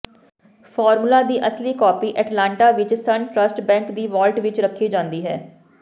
formula ਦੀ ਅਸਲੀ copy Atlanta ਵਿੱਚ ਸਨ ਟ੍ਰਸਟ ਬੈਂਕ ਦੀ ਵਾਲਟ ਵਿੱਚ ਰੱਖੀ ਜਾਂਦੀ ਹੈ